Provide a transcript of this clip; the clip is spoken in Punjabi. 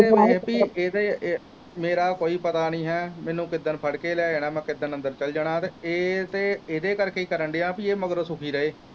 ਇਹਦੇ ਵੇਖ ਪੀ ਇਹਦੇ ਮੇਰਾ ਕੋਈ ਪਤਾ ਨਹੀਂ ਹੈ ਮੈਨੂੰ ਕਿੱਦਣ ਫੜ ਕੇ ਲੈ ਜਾਣਾ ਮੈ ਕਿੱਦਣ ਅੰਦਰ ਚਲ ਜਾਣਾ ਤੇ ਇਹ ਤੇ ਏਦੇ ਕਰਕੇ ਈ ਕਰਨ ਦਿਆ ਪੀ ਇਹ ਮਗਰੋਂ ਸੁਖੀ ਰਹੋ।